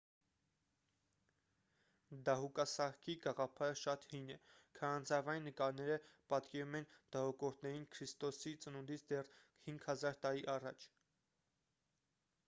դահուկասահքի գաղափարը շատ հին է քարանձավային նկարները պատկերում են դահուկորդներին քրիստոսի ծնունդից դեռ 5 000 տարի առաջ